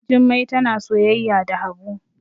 Jummai tana soyayya da habu